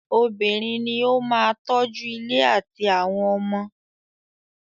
Obìnrin ní o máà tọ́ju ilé àtí àwọn ọmọ.